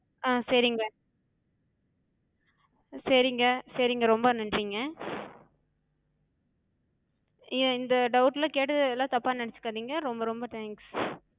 ஆஹ் சேரிங்க. சேரிங்க சேரிங்க ரொம்ப நன்றிங்க. இந்த doubt லாக் கேட்டது எல்லா தப்பா நெனச்சுக்காதிங்க, ரொம்ப ரொம்ப thanks.